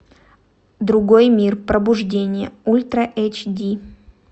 другой мир пробуждение ультра эйч ди